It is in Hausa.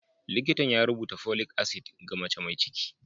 Likitan ya rubuta folic acid ga mace mai ciki.